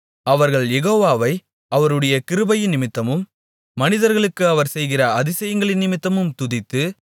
அவர்கள் யெகோவாவை அவருடைய கிருபையினிமித்தமும் மனிதர்களுக்கு அவர் செய்கிற அதிசயங்களினிமித்தமும் துதித்து